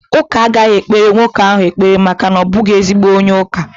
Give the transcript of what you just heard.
Ụka agaghị ekpere nwoke ahụ ekpere maka na ọ bụghị ezigbo onye ụka